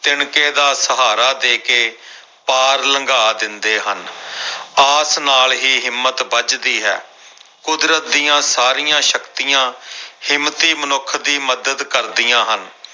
ਤਿਣਕੇ ਦਾ ਸਹਾਰਾ ਦੇ ਕੇ ਪਾਰ ਲੰਘਾ ਦਿੰਦੇ ਹਨ ਆਸ ਨਾਲ ਹੀ ਹਿੰਮਤ ਬੱਝਦੀ ਹੈ ਕੁਦਰਤ ਦੀਆਂ ਸਾਰੀਆਂ ਸ਼ਕਤੀਆਂ ਹਿੰਮਤੀ ਮਨੁੱਖ ਦੀ ਮਦਦ ਕਰਦੀਆਂ ਹਨ।